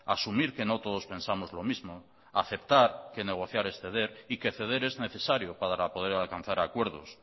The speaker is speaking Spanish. asumir que nos todos pensamos lo mismo aceptar que negociar es ceder y que ceder es necesariopara poder alcanzar acuerdos